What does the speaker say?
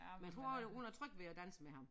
Men jeg tror hun er tryg ved at danse med ham